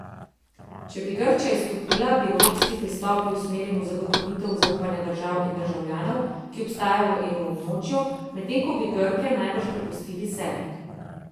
Če bi Grčija izstopila, bi evropski pristop bil usmerjen v zagotovitev zaupanja držav in državljanov, ki ostajajo v evroobmočju, medtem ko bi Grke najbrž prepustili sebi.